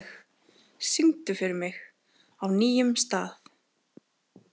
Hallveig, syngdu fyrir mig „Á nýjum stað“.